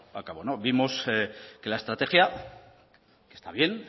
a cabo vimos que al estrategia está bien